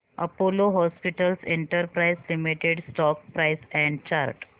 Apollo hospitals enterprise limited stock price and chart